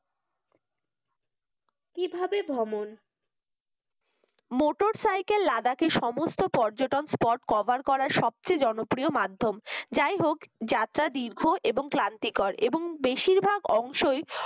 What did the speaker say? কিভাবে ভ্রমণ motorcycle লাদাখ এ সমস্ত পর্যটক spot cover করা সবচেয়ে জনপ্রিয় মাধ্যম যাই হোক যাত্রা দীর্ঘ এবং ক্লান্তিকর এবং বেশিরভাগ অংশই